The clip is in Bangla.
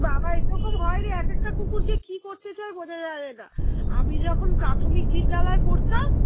একরকম হয় রে এক একটা কুকুর যে কি করতে চায় বোঝা যাবে না আমি যখন প্রাথমিক বিদ্যালয়ে পড়তাম